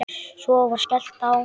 Svo var skellt á.